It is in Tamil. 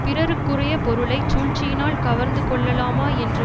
பிறருக்குரிய பொருளை சூழ்ச்சியினால் கவர்ந்து கொள்ளலாமா என்று